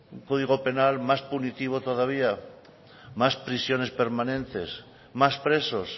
código penal más punitivo todavía más prisiones permanentes más presos